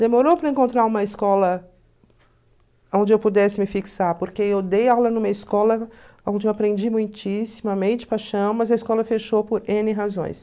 Demorou para encontrar uma escola aonde eu pudesse me fixar, porque eu dei aula numa escola aonde eu aprendi muitíssimamente, paixão, mas a escola fechou por ene razões.